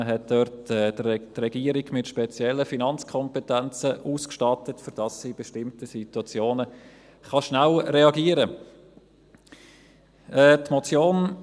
Man hat dort die Regierung mit speziellen Finanzkompetenzen ausgestattet, damit sie in bestimmten Situationen schnell reagieren kann.